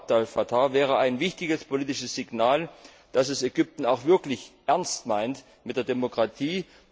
Alaa Abd El Fatah, wäre ein wichtiges politisches Signal, dass es Ägypten auch wirklich ernst meint mit der Demokratie.